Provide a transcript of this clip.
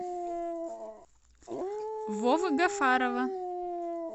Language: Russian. вовы гафарова